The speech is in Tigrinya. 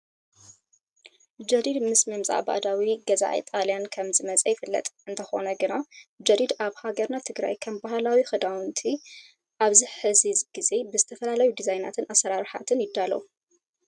ጀዲድ ምስ ምምፃእ ባዕዳዊ ገዛኢ ጣልያን ከም ዝመፅኣ ይፍለጥ። እንተኾነ ግና ጀዲድ ኣብ ሃገርና ትግራይ ከም ባህላዊ ክዳውንትና ኣብዚ ሕዚ ግዜ ብዝተፈላለዩ ድዛይናትን ኣሰራርሓታት ይዳለው።